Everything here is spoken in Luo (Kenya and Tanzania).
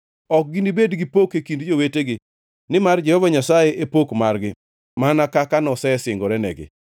Ok ginibed gi pok e kind jowetegi, nimar Jehova Nyasaye e pok margi mana kaka nosesingorenegi.